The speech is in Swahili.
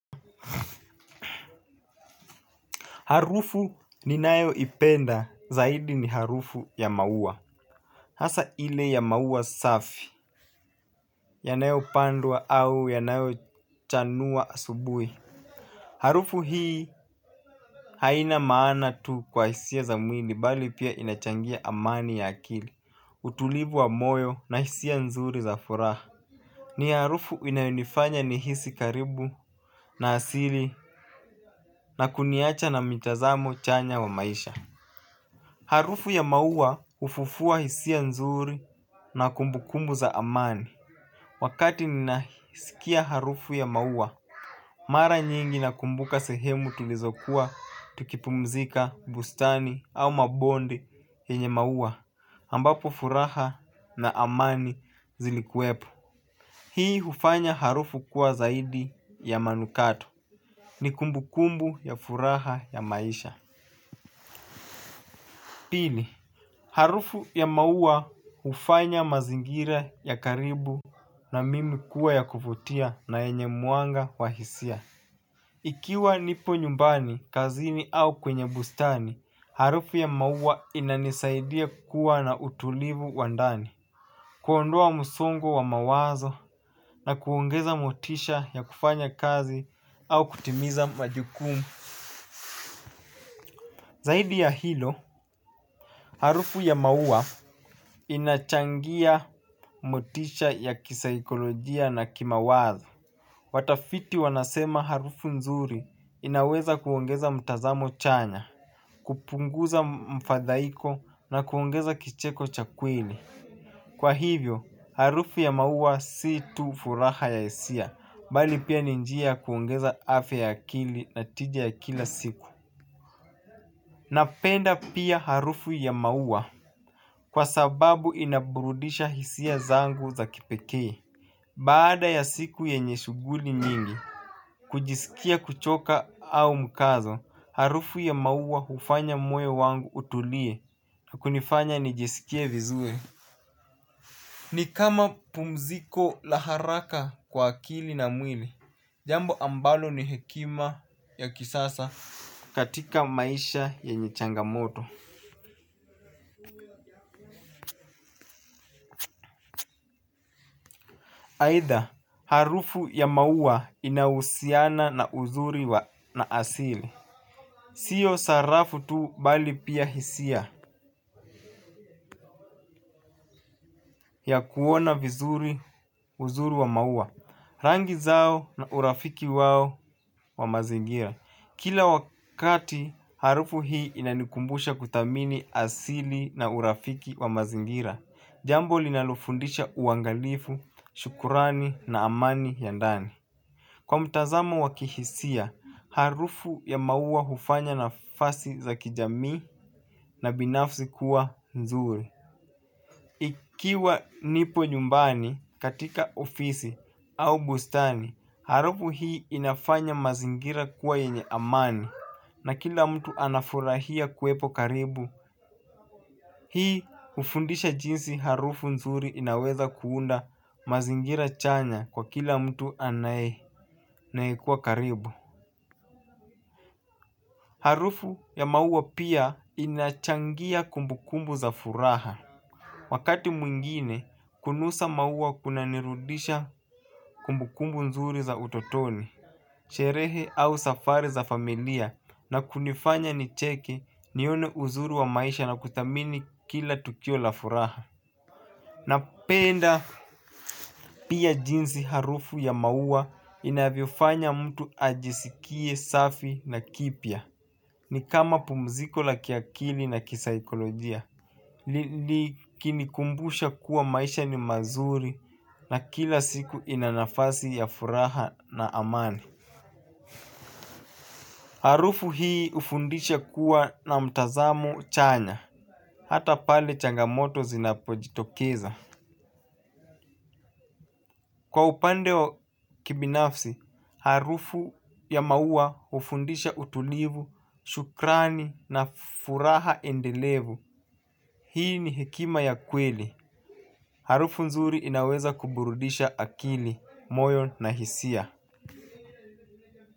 Harufu ninayo ipenda zaidi ni harufu ya maua. Hasa ile ya maua safi, yanayo pandwa au yanayo chanua asubuhi. Harufu hii haina maana tu kwa hisia za mwili bali pia inachangia amani ya akili, utulivu wa moyo na hisia nzuri za furaha. Ni harufu inayonifanya nihisi karibu na asili na kuniacha na mitazamo chanya wa maisha. Harufu ya maua hufufua hisia nzuri na kumbukumbu za amani. Wakati ninaisikia harufu ya maua, mara nyingi nakumbuka sehemu tulizokuwa tukipumzika bustani au mabondi yenye maua ambapo furaha na amani zilikuwepo. Hii hufanya harufu kuwa zaidi ya manukato. Ni kumbukumbu ya furaha ya maisha. Pili, harufu ya maua hufanya mazingira ya karibu na mimi kuwa ya kuvutia na yenye mwanga wa hisia. Ikiwa nipo nyumbani, kazini au kwenye bustani, harufu ya mauwa inanisaidia kuwa na utulivu wa ndani. Kuondoa msongo wa mawazo na kuongeza motisha ya kufanya kazi au kutimiza majukumu. Zaidi ya hilo, harufu ya maua inachangia motisha ya kisaikolojia na kimawazo. Watafiti wanasema harufu nzuri inaweza kuongeza mtazamo chanya, kupunguza mfadhaiko na kuongeza kicheko cha kweli. Kwa hivyo, harufu ya maua si tu furaha ya hisia, bali pia ni njia ya kuongeza afya akili na tija ya kila siku. Napenda pia harufu ya maua kwa sababu inaburudisha hisia zangu za kipekee. Baada ya siku yenye shuguli mingi kujisikia kuchoka au mkazo harufu ya maua hufanya moyo wangu utulie na kunifanya nijisikie vizuri nikama pumziko la haraka kwa akili na mwili jambo ambalo ni hekima ya kisasa katika maisha yenye changamoto aidha harufu ya maua inahusiana na uzuri na asili. Sio sarafu tu bali pia hisia ya kuona vizuri uzuri wa maua. Rangi zao na urafiki wao wa mazingira. Kila wakati harufu hii inanikumbusha kuthamini asili na urafiki wa mazingira. Jambo linalofundisha uangalifu, shukurani na amani ya ndani. Kwa mtazamo wa kihisia, harufu ya maua hufanya nafasi za kijamii na binafsi kuwa nzuri. Ikiwa nipo nyumbani katika ofisi au bustani, harufu hii inafanya mazingira kuwa yenye amani na kila mtu anafurahia kuepo karibu. Hii hufundisha jinsi harufu nzuri inaweza kuunda mazingira chanya kwa kila mtu anayekuwa karibu. Harufu ya maua pia inachangia kumbukumbu za furaha. Wakati mwingine, kunusa maua kuna nirudisha kumbukumbu nzuri za utotoni, sherehe au safari za familia na kunifanya nicheke nione uzuri wa maisha na kuthamini kila tukio la furaha. Napenda pia jinsi harufu ya maua inavyofanya mtu ajisikie safi na kipya. Ni kama pumziko la kiakili na kisaikolojia. Likini kumbusha kuwa maisha ni mazuri na kila siku inanafasi ya furaha na amani. Harufu hii hufundisha kuwa na mtazamo chanya. Hata pale changamoto zinapojitokeza. Kwa upande kibinafsi, harufu ya maua hufundisha utulivu, shukrani na furaha endelevu. Hii ni hekima ya kweli. Harufu nzuri inaweza kuburudisha akili, moyo na hisia.